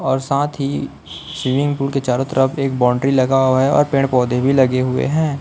और साथ ही स्वीमिंग पूल के चारों तरफ एक बाउंड्री लगा हुआ हैं और पेड़ पौधे भी लगे हुए हैं।